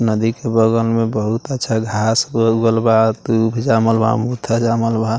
नदी के बगल में बहुत अच्छा घास उगल बा दूब जमाल बा जमाल बा।